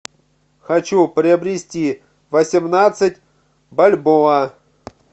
хочу приобрести восемнадцать бальбоа